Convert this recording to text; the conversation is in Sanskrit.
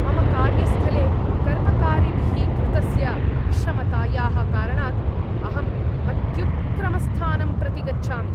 मम कार्यस्थले कर्मकारिभिः कृतस्य अक्षमतायाः कारणात् अहं अत्युत्क्रमस्थानं प्रति गच्छामि।